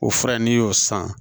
O fura in n'i y'o san